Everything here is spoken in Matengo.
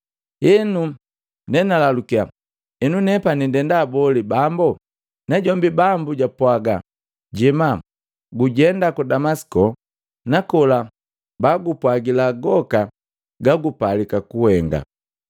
Henu, nenalalukia, ‘Enu nepani ndenda boli Bambo?’ Najombi Bambu japwaga, ‘Jema, gujenda ku Damasiko nakola baakupwagila goka gagupalika kuhenga.’